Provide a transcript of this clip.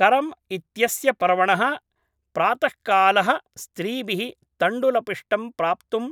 करम् इत्यस्य पर्वणः प्रातःकालः स्त्रीभिः तण्डुलपिष्टं प्राप्तुं